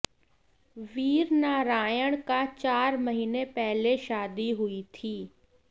वीरनारायण का चार महीने पहले शादी हुई थी